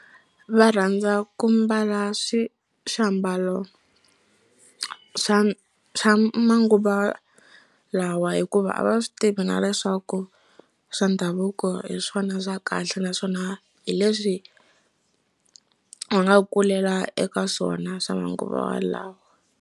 Va rhandza ku mbala swi swiambalo swa swa manguva lawa hikuva a va swi tivi na leswaku swa ndhavuko hi swona swa kahle naswona hi leswi va nga kulela eka swona swa manguva lawa.